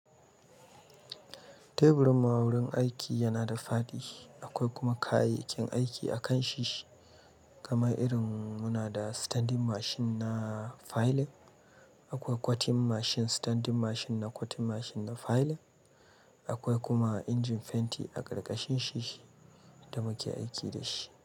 Teburin mu a wurin aiki yana da fadi, akwai kuma kayayyakin aiki akan shi, kamar irin muna da standing machine na filing, akwai cutting machine, standing machine na cutting machine na filing, akwai kuma injin fenti a ƙarƙashin shi da muke aiki da shi.